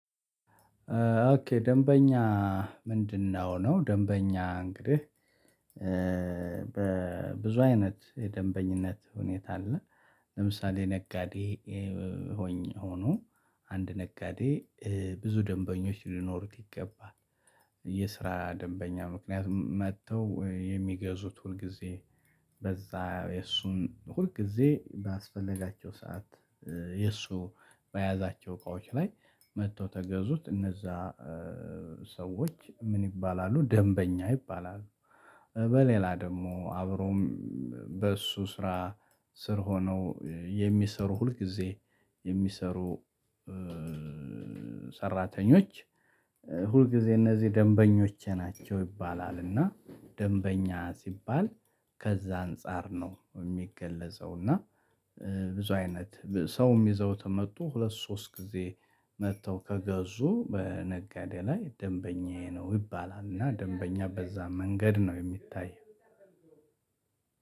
ኦኬ ደንበኛ ምንድነው? ነው ደንበኛ እንግዲህ ብዙ አይነት የደንበኝነት ሁኔታ አለ። ለምሳሌ ነጋዴ ሆኖ አንድ ነጋዴ ብዙ ደንበኞች ሊኖሩት ይገባል። የስራ ደንበኛ ምክንያቱም መጥተው የሚገዙት ሁል ጊዜ በዛ እሱን ሁል ጊዜ ባስፈለጋቸው ሰዓት እሱ በያዛቸው እቃዎች ላይ መጥተው ከገዙት እነዛ ሰዎች ምን ይባላሉ ደንበኛ ይባላሉ። በሌላ ደግሞ አብሮም በእሱ ስራ ስር ሆነው የሚሰሩ ሁል ጊዜ የሚሰሩ ሰራተኞች ሁልጊዜ እነዚህ ደንበኞች ናቸው ይባላልና። ደንበኛ ሲባል ከዛ አንፃር ነው የሚገለጸውና። ብዙ አይነት ሰውም ይዘውት መጡ ሁለት ሶስት ጊዜ መጥተው ከገዙ በነጋዴ ላይ ደንበኛዬ ነው ይባላልና። ደንበኛ በዛ መንገድ ነው የሚታየው።